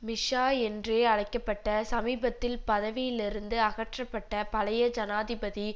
மிஷா என்றே அழைக்க பட்ட சமீபத்தில் பதவியிலிருந்து அகற்றப்பட்ட பழைய ஜனாதிபதி